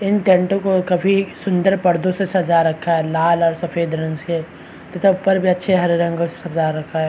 इन टेंटो को काफी सुंदर पर्दो से सजा रखा है लाल और सफ़ेद रंग से तथा ऊपर भी अच्छे हरे रंगो से सजा रखा है।